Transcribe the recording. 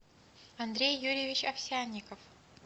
андрей юрьевич овсянников